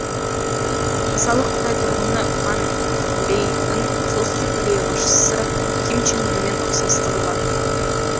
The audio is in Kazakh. мысалы қытай тұрғыны ван лэйдің солтүстік корея басшысы ким чен ынмен ұқсастығы бар